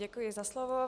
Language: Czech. Děkuji za slovo.